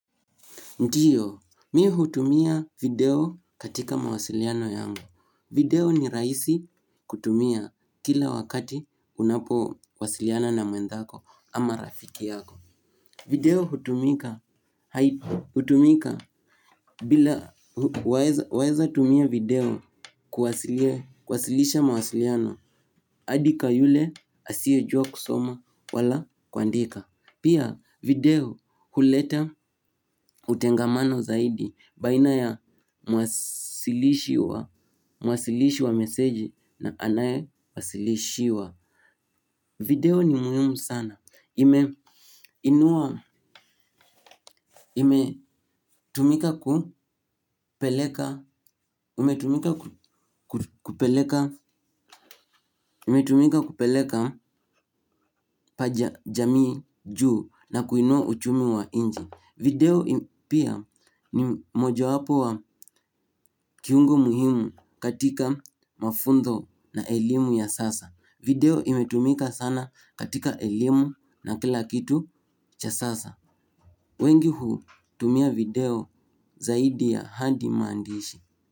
Ndiyo, mi hutumia video katika mawasiliano yangu. Video ni rahisi kutumia kila wakati unapowasiliana na mwenthako ama rafiki yako. Video hutumika bila, waeza tumia video kuwasilisha mawasiliano, hadi kwa yule asiyejua kusoma wala kuandika. Pia video huleta utengamano zaidi baina ya mwasilishi wa, mwasilishi wa meseji na anayewasilishiwa. Video ni muhimu sana. Imetumika kupeleka pa jamii juu na kuinua uchumi wa inji. Video pia ni mojowapo wa kiungo muhimu katika mafuntho na elimu ya sasa. Video imetumika sana katika elimu na kila kitu cha sasa. Wengi hutumia video zaidi ya handi maandishi.